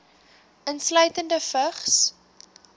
insluitende vigs